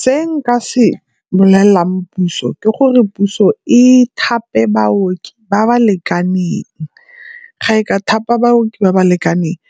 Se nka se bolelelang puso ke gore puso e thape baoki ba ba lekaneng. Ga e ka thapa baoki ba ba lekaneng